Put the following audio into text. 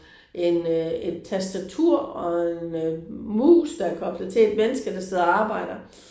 En øh et tastatur og en øh mus der er koblet til et menneske der sidder og arbejder